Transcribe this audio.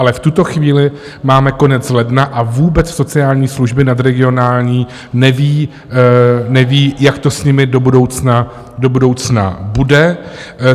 Ale v tuto chvíli máme konec ledna a vůbec sociální služby nadregionální nevědí, jak to s nimi do budoucna bude.